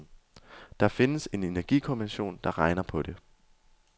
Der findes en energikommission, der regner på det.